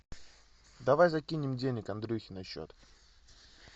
давай закинем денег андрюхе на счет